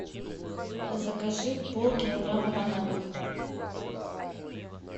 закажи полкилограмма бананов